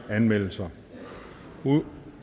anmeldelser